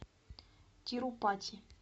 тирупати